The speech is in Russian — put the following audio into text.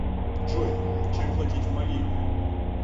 джой чем платить в мали